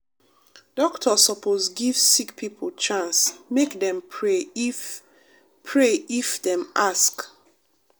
doctor sopose give sick pipo chance make dem pray if pray if dem ask.